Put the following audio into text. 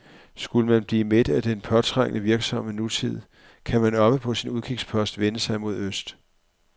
Skulle man blive mæt af den påtrængende, virksomme nutid, kan man oppe på sin udkigspost vende sig mod øst.